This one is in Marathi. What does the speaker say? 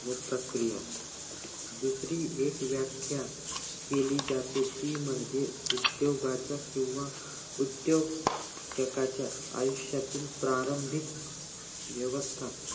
व प्रक्रिया दुसरी एक व्याख्या केली जाते ती म्हणजे उद्दोगाच किंवा उद्दोजकांच्या आयुष्यातील प्रारंभिक व्यवस्था